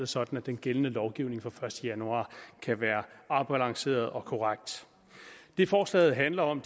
sådan at den gældende lovgivning fra den første januar kan være afbalanceret og korrekt det forslaget handler om